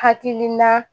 Hakilila